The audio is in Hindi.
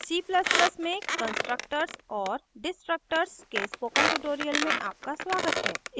c ++ में constructors constructors और destructors destructors के spoken tutorial में आपका स्वागत है